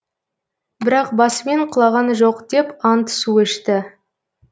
бірақ басымен құлаған жоқ деп ант су ішті